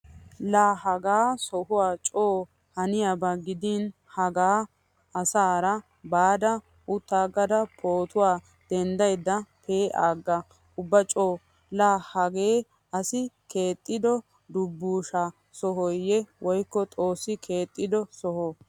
Laa hagaa sohuwaa co haniyaaba gidin hagaa asaara baada uttaagada pootuwaa denddaydda pee'aaga ubba co.Laa hagee asi keexxido dubbusha sohooyye woykko xoossi keexxido soho.